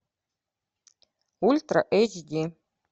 ультра эйч ди